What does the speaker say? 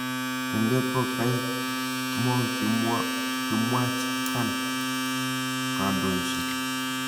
tengek ko kaek mo kimwach Khan kandoishet